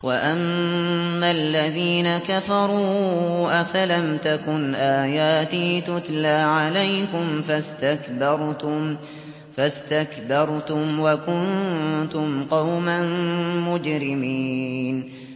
وَأَمَّا الَّذِينَ كَفَرُوا أَفَلَمْ تَكُنْ آيَاتِي تُتْلَىٰ عَلَيْكُمْ فَاسْتَكْبَرْتُمْ وَكُنتُمْ قَوْمًا مُّجْرِمِينَ